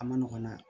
A ma nɔgɔn nɛ